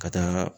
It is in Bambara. Ka taa